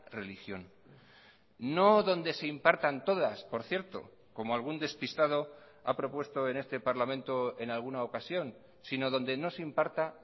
religión no donde se impartan todas por cierto como algún despistado ha propuesto en este parlamento en alguna ocasión sino donde no se imparta